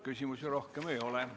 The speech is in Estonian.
Küsimusi rohkem ei ole.